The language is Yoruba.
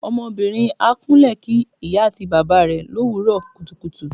Ọmọbìnrin á kúnle kí ìyá àti bàbá rẹ l'òwúrò kùtùkùtù.